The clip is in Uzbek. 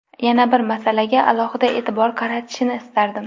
Yana bir masalaga alohida e’tibor qaratilishini istardim.